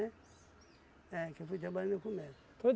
É, que eu fui trabalhar no comércio.